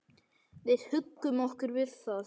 Við huggum okkur við það.